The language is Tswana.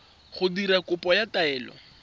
go dira kopo ya taelo